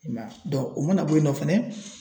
I m'a ye o mana bɔ yen nɔ fɛnɛ